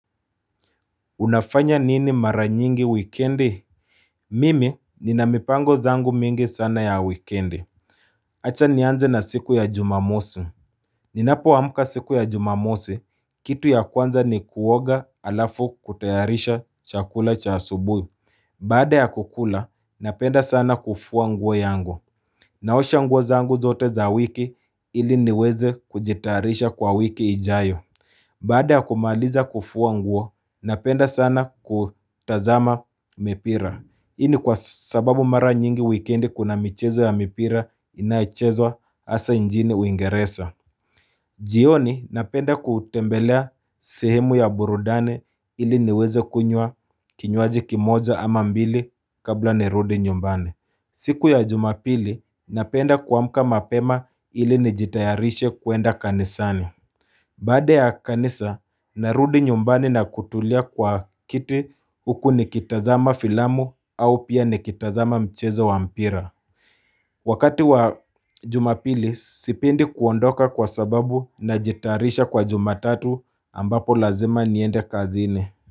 Unafanya nini mara nyingi wikendi Mimi ni na mipango zangu mingi sana ya wikendi Acha nianze na siku ya jumamosi Ninapo amuka siku ya jumamosi kitu ya kwanza ni kuoga alafu kutayarisha chakula cha asubui Baade ya kukula napenda sana kufua nguo yangu Naosha nguo zangu zote za wiki ili niweze kujitayarisha kwa wiki ijayo Baade ya kumaaliza kufua nguo, napenda sana kutazama mipira. Ini kwa sababu mara nyingi wikendi kuna michezo ya mipira inaichezwa asa njini uingeresa. Jioni napenda kutembelea sehemu ya burudani ili niweze kunywa kinywaji kimoja ama mbili kabla nirudi nyumbani. Siku ya jumapili, napenda kuamka mapema ili nijitayarishe kuenda kanisani. Baada ya kanisa, narudi nyumbani na kutulia kwa kiti huku nikitazama filamu au pia nikitazama mchezo wa mpira. Wakati wa jumapili, sipendi kuondoka kwa sababu najitayarisha kwa jumatatu ambapo lazima niende kazini.